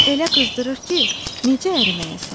Elə qızdırır ki, necə əriməyəsən?